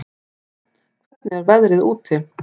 Dröfn, hvernig er veðrið úti?